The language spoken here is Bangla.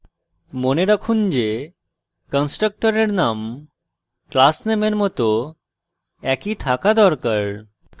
মনে রাখুন যে constructor name class নামের মত একই থাকা দরকার